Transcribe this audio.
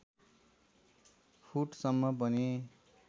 foot सम्म पनि